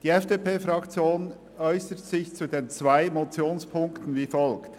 Die FDP-Fraktion äussert sich zu den zwei Ziffern der Motion wie folgt: